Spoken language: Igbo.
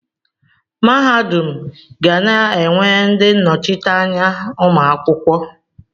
Mahadum ga na-enwe ndị nnọchiteanya ụmụ akwụkwọ.